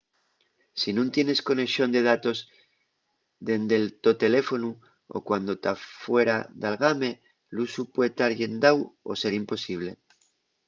si nun tienes conexón de datos dende’l to teléfonu o cuando ta fuera d’algame l’usu pue tar llendáu o ser imposible